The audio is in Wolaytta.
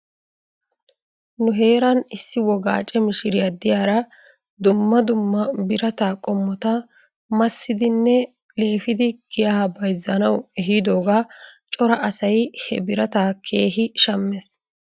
Nu heeran issi wogaace mishiriyaa diyaaran dumma dumma birataa qommotta massidinne leefidi giyaa bayzzanaw ehidoogaa cora asay he birataa keehi shammes.